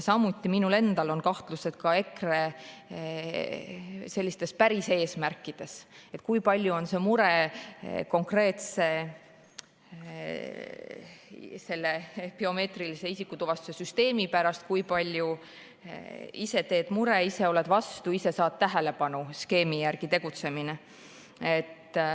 Samuti on minul endal kahtlused EKRE sellistes päris eesmärkides, et kui palju on see mure konkreetse biomeetrilise isikutuvastuse süsteemi pärast, kui palju skeemi "ise teed mure, ise oled vastu, ise saad tähelepanu" järgi tegutsemine.